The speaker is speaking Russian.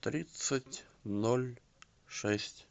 тридцать ноль шесть